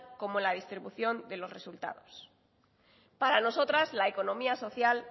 como la distribución de los resultados para nosotras la economía social